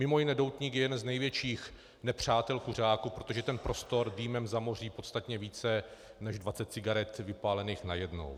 Mimo jiné doutník je jeden z největších nepřátel kuřáků, protože ten prostor dýmem zamoří podstatně více než 20 cigaret vypálených najednou.